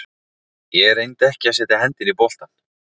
Ég reyndi ekki að setja hendina í boltann.